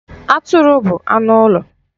Atụrụ bụ anụ ụlọ.